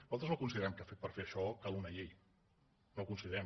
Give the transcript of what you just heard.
nosaltres no considerem que per fer això calgui una llei no ho considerem